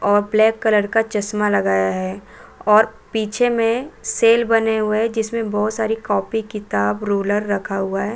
और black colour का चश्मा लगाया है और पीछे में सेल बने हुए है जिसमें बहुत सारी कॉपी किताब रूलर रखा हुआ है।